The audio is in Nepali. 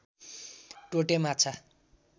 टोटे माछा